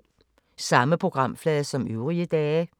Samme programflade som øvrige dage